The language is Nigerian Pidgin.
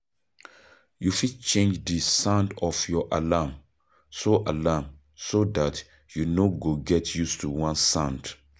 you fit change di sound of your alarm so alarm so dat you no go get used to one sound